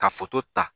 Ka ta